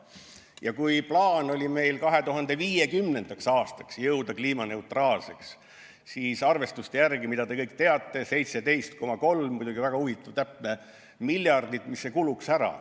Ja kui meil on plaan 2050. aastaks jõuda kliimaneutraalsuseni, siis arvestuste järgi, mida te kõik teate, kulub selleks 17,3 miljardit – muidugi väga huvitav, täpne summa.